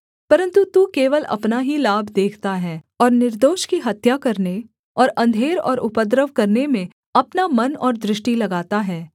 परन्तु तू केवल अपना ही लाभ देखता है और निर्दोष की हत्या करने और अंधेर और उपद्रव करने में अपना मन और दृष्टि लगाता है